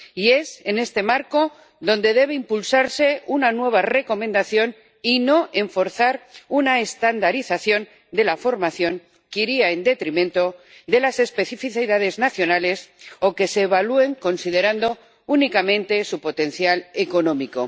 Y es en este marco donde debe impulsarse una nueva Recomendación, y no forzar una estandarización de la formación que vaya en detrimento de las especificidades nacionales, o que las evalúe considerando únicamente su potencial económico.